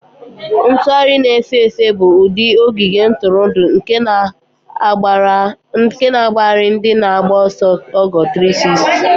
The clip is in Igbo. Ntugharị na-efe efe bụ ụdị ogige ntụrụndụ nke na-agbagharị ndị na-agba ọsọ ogo 360.